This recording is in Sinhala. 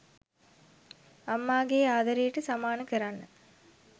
අම්මාගේ ආදරේට සමාන කරන්න